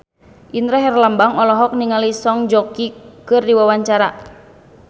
Indra Herlambang olohok ningali Song Joong Ki keur diwawancara